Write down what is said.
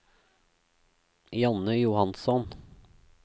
Janne Johansson